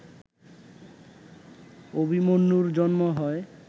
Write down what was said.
অভিমন্যুর জন্ম হয়